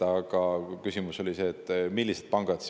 Aga küsimus oli, et millised pangad.